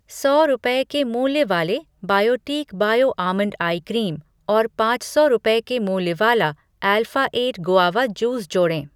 सौ रुपये के मूल्य वाले Biotique bio almond eye cream और पाँच सौ रूपये के मूल्य वाला अल्फ़ा एट गुआवा जूस जोड़ें।